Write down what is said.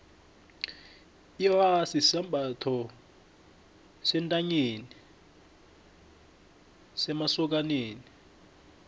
irasi sisambatho sentanyeni semasokani